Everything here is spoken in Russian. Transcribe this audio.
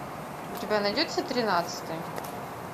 у тебя найдется тринадцатый